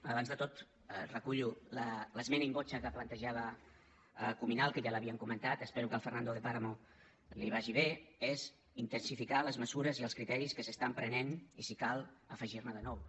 abans de tot recullo l’esmena in voce que plantejava cuminal que ja l’havíem comentat espero que al fernando de páramo li vagi bé és intensificar les mesures i els criteris que s’estan prenent i si cal afegir ne de nous